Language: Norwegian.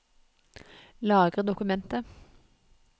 Lagre dokumentet